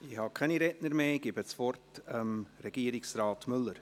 Ich habe keine Redner mehr auf der Liste.